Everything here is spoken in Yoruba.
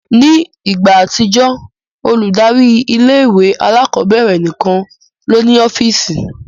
Ni igba atijọ, oludari ìlé-ìwé àlàkọbẹrẹ nikan lo ni ọfiisi